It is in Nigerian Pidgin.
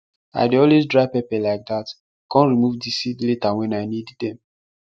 i dey always dry pepper like that com remove di seed later wen i need dem